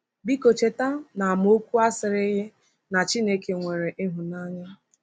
Biko cheta na amaokwu a sịrịghị na Chineke nwere ịhụnanya.